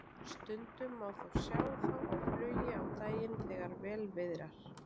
Stundum má þó sjá þá á flugi á daginn þegar vel viðrar.